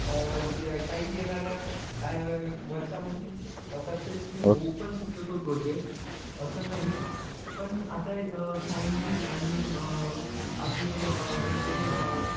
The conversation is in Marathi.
अं काही येणाऱ्या अं वर्षामध्ये successful होऊ पण शकतो तो project असं नाही पण आता अं scientist आणि अं आपले अं जे अं